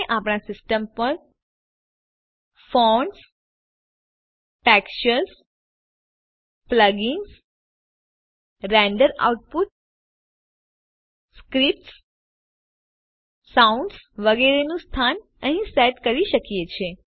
આપણે આપણા સિસ્ટમ પર fonts textures plugins render output scripts sounds વગેરે નું સ્થાન અહીં સેટ કરી શકીએ છે